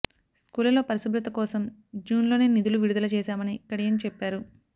స్కూళ్లలో పరిశుభ్రత కోసం జూన్ లోనే నిధులు విడుదల చేశామని కడియం చెప్పారు